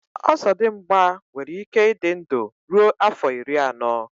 ọzọdịmgba nwere ike ịdị ndụ ruo afọ iri anọ